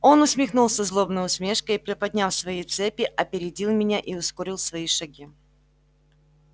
он усмехнулся злобной усмешкою и приподняв свои цепи опередил меня и ускорил свои шаги